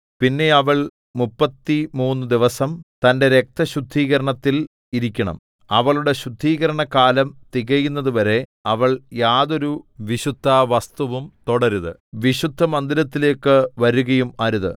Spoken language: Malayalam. പിന്നെ അവൾ മുപ്പത്തിമൂന്നു ദിവസം തന്റെ രക്തശുദ്ധീകരണത്തിൽ ഇരിക്കണം അവളുടെ ശുദ്ധീകരണകാലം തികയുന്നതുവരെ അവൾ യാതൊരു വിശുദ്ധവസ്തുവും തൊടരുത് വിശുദ്ധമന്ദിരത്തിലേക്കു വരുകയും അരുത്